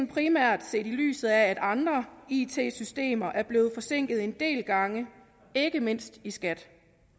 primært set i lyset af at andre it systemer er blevet forsinket en del gange ikke mindst i skat